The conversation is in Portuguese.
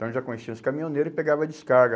Então já conhecia os caminhoneiros e pegava a descarga.